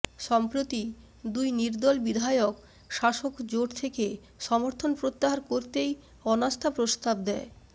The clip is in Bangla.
সম্প্রতি দুই নির্দল বিধায়ক শাসক জোট থেকে সমর্থন প্রত্যাহার করতেই অনাস্থা প্রস্তাব দেয়